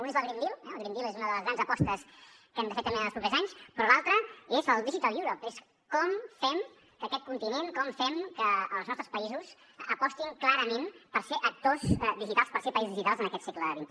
un és el green deal el green deal és una de les grans apostes que hem de fer també en els propers anys però l’altre és el digital europe és com fem que aquest continent com fem que els nostres països apostin clarament per ser actors digitals per ser països digitals en aquest segle xxi